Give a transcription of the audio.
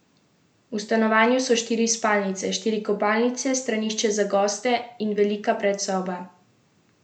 V stanovanju so štiri spalnice, štiri kopalnice, stranišče za goste in velika predsoba.